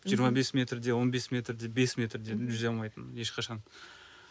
жиырма бес метр де он бес метр де бес метр де жүзе алмайтынмын ешқашан